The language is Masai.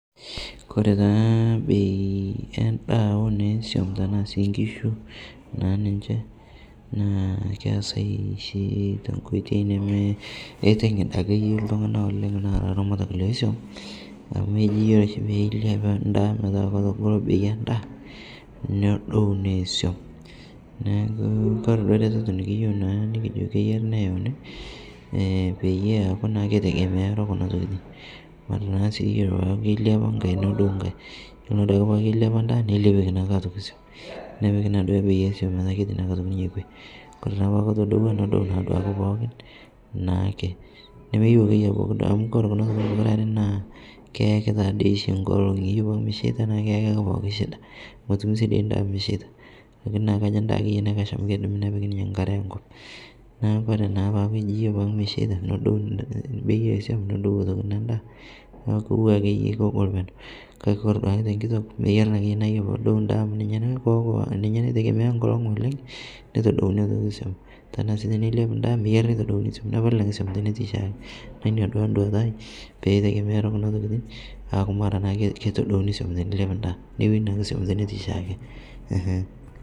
Kore taa bei endaa onesuom tanaa sii nkishu ninshee naa keasai shi tenkoitei nemeiting'id ake yoo ltung'ana oleng' naa laramatak lesuom, amu eji iyolo shi peiliap ndaa metaa ketogoloo bei endaa nedou nesuom naaku kore duo retetoo nikiyeu naa nikijo keyarii neyaunii peyie eaku naa keitegemearo naa kuna tokitin kore naa sii iyolo peaku keiliapa ng'hai nodou ng'hai, kore naa duake peaku keiliapa ndaa neilepieki naake otoki suom, nepikii naake bei esuom metaa keti naake otoki ninye kwee, kore naa peaku kotodowaa nodou naa duake pookin naake, nemeyeu akeye abaki duake amu kore kuna tokitin pukuraree naa keyaki taadei shi nkolong'ii iyolo peaku mesheita naaku keyakii pooki shida motumii sii dei ndaa mesheita lakini kajo ndaa akeye naikash amu keidimii nepiki ninye nkare enkop naaku naa kore peaku eji mesheita nodou ntokitin nodou bei esuom nedou otoki nendaa naaku kotuwaa akeye kogol peneu kakee kore duake tenkitok meyarii naakeye aaku kore podou ndaa amu ninye naitegemea nkolong' oleng neitodouni otokii suom tanaa sii teneiliap ndaa meyarii neitodouni suom nepalii naake suom tenetii shaake naaku inia taa nduata aai peitegemearo kuna tokitin aaku mara keitodouni suom teneiliap ndaa neweni naake suom tenetii shaake.